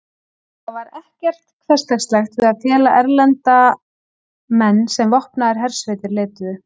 Það var ekkert hversdagslegt við að fela erlenda menn sem vopnaðar hersveitir leituðu.